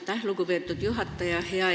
Aitäh, lugupeetud juhataja!